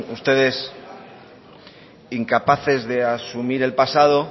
ustedes incapaces de asumir el pasado